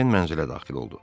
Ejen mənzilə daxil oldu.